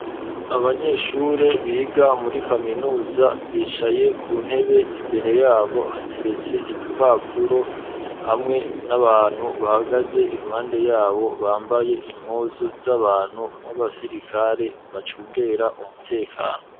Abanyeshure biga muri kaminuza bicaye ku ntebe imbere yabo hateretse ibipapuro hamwe n'abantu bahagaze iruhande yabo bambaye impuzu z'abantu w'abasirikare bacungera umutekano.